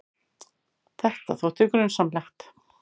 Þetta þótti grunsamlegt.